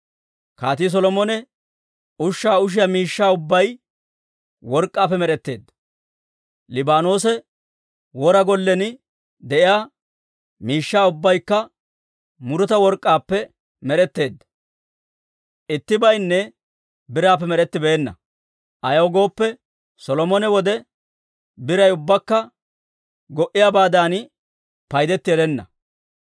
Kaatii Solomone ushshaa ushiyaa miishshaa ubbay work'k'aappe med'etteedda; Liibaanoosa Wora Gollen de'iyaa miishshaa ubbaykka muruta work'k'aappe med'etteedda. Ittibaynne biraappe med'ettibeenna; ayaw gooppe, Solomone wode biray ubbakka go"iyaabaadan paydetti erenna.